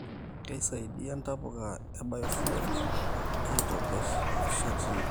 Keisaidia ntapuka ee biofuel aitobir nishatini